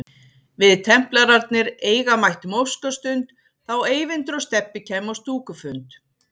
Við templararnir eiga mættum óskastund þá Eyvindur og Stebbi kæmu á stúkufund